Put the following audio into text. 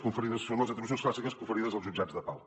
diu són les atribucions clàssiques conferides als jutjats de pau